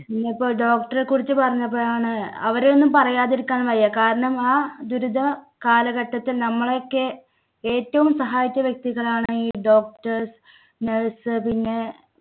ഇന്നിപ്പോ doctor റെ കുറിച്ച് പറഞ്ഞപ്പോഴാണ്, അവരെയൊന്നും പറയാതിരിക്കാൻ വയ്യ. കാരണം ആ ദുരിത കാലഘട്ടത്തിൽ നമ്മളെക്കെ ഏറ്റവും സഹായിച്ച വ്യക്തികളാണ് ഈ doctors, nurse പിന്നെ